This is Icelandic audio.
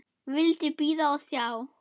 Vildi bíða og sjá.